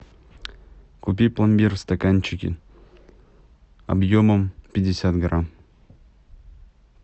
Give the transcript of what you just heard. купи пломбир в стаканчике объемом пятьдесят грамм